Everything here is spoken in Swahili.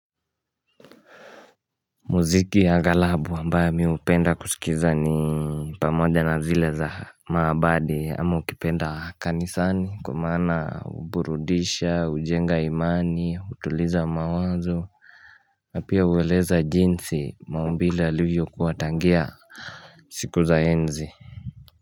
Muziki ya aghalabu ambaye mi hupenda kusikiza ni pamoja na zile za maabadi ama ukipenda kanisani kwamana huburudisha, hujenga imani, utuliza mawazo pia hueleza jinsi, maumbile yalivyokuwa tangia siku za enzi.